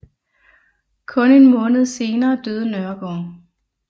Kun en måned senere døde Nørregård